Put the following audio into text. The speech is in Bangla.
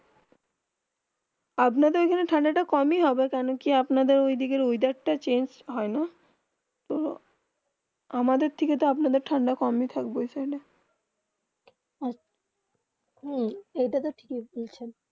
আপনাদের ওখানে তে ঠান্ডা একটু কম হয় হবে কেন কি আপনার ওই দিকে মেয়াদের তা চেঞ্জ হয়ে না তো আমাদের থেকে তো আপনার দেড় ঠান্ডা কম হয় থাকবে হেঁ এটা তো ঠিক হয় বলছেন